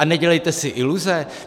A nedělejte si iluze.